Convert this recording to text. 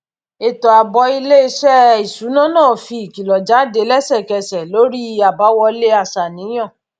ètò ààbò iléiṣẹ iṣuna náà fi ìkìlọ jáde lẹsẹkẹsẹ lórí àbáwọlé aṣàníyàn